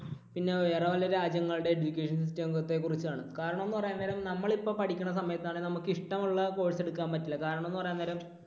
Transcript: പിന്നെ വേറെ വല്ല രാജ്യങ്ങളുടേയും education system ത്തെ കുറിച്ചാണ്. കാരണം എന്ന് പറയാൻ നേരം നമ്മൾ ഇപ്പോൾ പഠിക്കണ സമയത്ത് ആണെങ്കിൽ നമുക്ക് ഇഷ്ടമുള്ള course എടുക്കാൻ പറ്റില്ല. കാരണം എന്ന് പറയാൻ നേരം